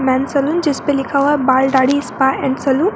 Main saloon जिसपे लिखा हुआ है बाल दाढ़ी स्पा एंड सैलून ।